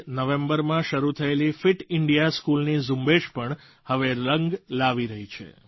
ગત વર્ષે નવેમ્બરમાં શરૂ થયેલી ફિટ ઇન્ડિયા સ્કૂલની ઝુંબેશ પણ હવે રંગ લાવી રહી છે